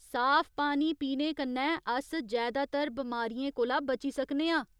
साफ पानी पीने कन्नै अस जैदातर बमारियें कोला बची सकने आं।